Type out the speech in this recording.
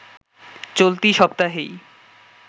চলতি সপ্তাহেই